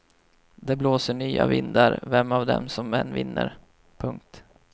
Det blåser nya vindar vem av dem som än vinner. punkt